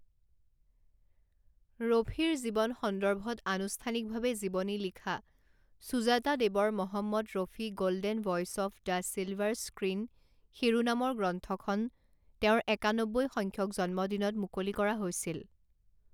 ৰফিৰ জীৱন সন্দৰ্ভত আনুষ্ঠানিকভাৱে জীৱনী লিখা সুজাতা দেৱৰ Mohammed Rafi Golden Voice of the Silver Screen শিৰোনামৰ গ্ৰন্থখন তেওঁৰ একান্নব্বৈ সংখ্যক জন্মদিনত মুকলি কৰা হৈছিল।